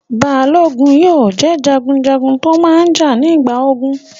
Balógun jẹ́ jagunjagun tó máa n jà nígbà ogun